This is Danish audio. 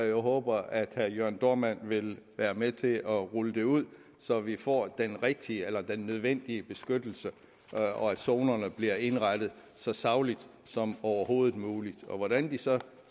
jeg håber at herre jørn dohrmann vil være med til at rulle det ud så vi får den rigtige den nødvendige beskyttelse og zonerne bliver indrettet så sagligt som overhovedet muligt hvordan de så